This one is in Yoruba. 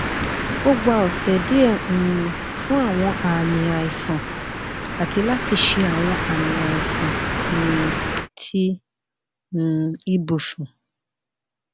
o gba ọsẹ diẹ um fun awọn aami aisan ati lati ṣe awọn aami aisan um ti um ibusun